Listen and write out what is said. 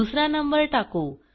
दुसरा नंबर टाकू